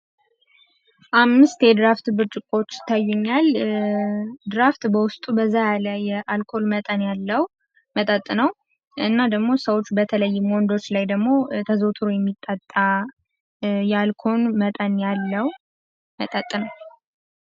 አምስት የድራፍት ብርጭቆዎች ይታዩኛል። ድራፍት በውስጡ በዛ ያለ የአልኮል መጠን ያለው መጠጥ ነው። እና ደግሞ ሰዎች በተለይም ወንዶች ላይ ተዘዉትሮ የሚጠጣ የአልኮል መጠን ያለዉ መጠጥ ነው።